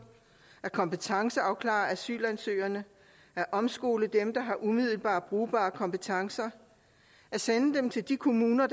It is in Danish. kompetenceafklare asylansøgerne omskole dem der har umiddelbart brugbare kompetencer sende dem til de kommuner